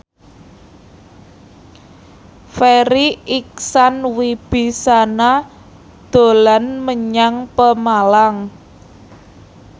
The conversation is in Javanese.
Farri Icksan Wibisana dolan menyang Pemalang